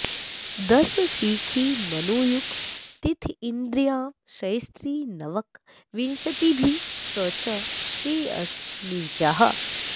दश शिखि मनु युक् तिथीन्द्रियांशैस्त्रि नवक विंशतिभिश्च ते अस्त नीचाः